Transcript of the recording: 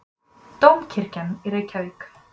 Dómkirkjan í Reykjavík.